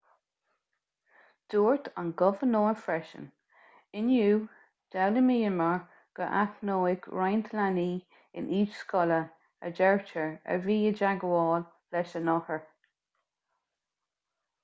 dúirt an gobharnóir freisin inniu d'fhoghlaimíomar gur aithníodh roinnt leanaí in aois scoile a deirtear a bhí i dteagmháil leis an othar